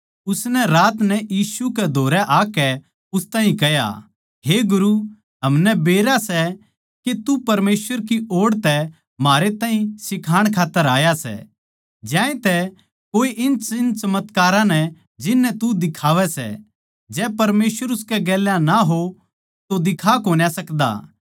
उसनै रात नै यीशु के धोरै आकै उस ताहीं कह्या हे गुरु हमनै बेरा सै के तू परमेसवर की ओड़ तै म्हारे ताहीं सिखाण खात्तर आया सै ज्यातैए कोए इन चिन्हचमत्कारां नै जिननै तू दिखावै सै जै परमेसवर उसकै गेल्या ना हो तो दिखा कोन्या सकदा